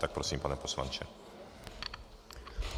Tak prosím, pane poslanče.